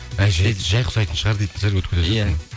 әй жай ұқсайтын шығар дейтін шығар